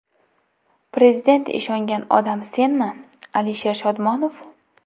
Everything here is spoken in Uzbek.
Prezident ishongan odam senmi, Alisher Shodmonov?